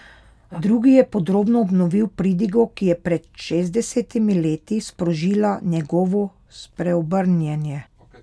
Drugi je podrobno obnovil pridigo, ki je pred šestdesetimi leti sprožila njegovo spreobrnjenje.